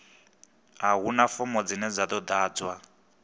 a huna fomo dzine dza ḓadzwa